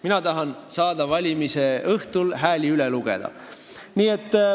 Mina tahan saada valimise õhtul hääli üle lugeda.